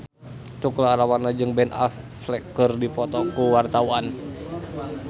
Tukul Arwana jeung Ben Affleck keur dipoto ku wartawan